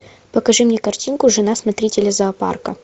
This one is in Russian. покажи мне картинку жена смотрителя зоопарка